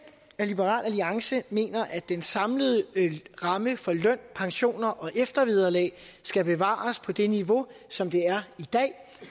at liberal alliance mener at den samlede ramme for løn pensioner og eftervederlag skal bevares på det niveau som det er